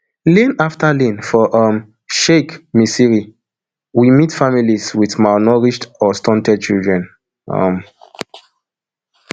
lane afta lane for um sheikh misni we meet families wit malnourished or stunted children um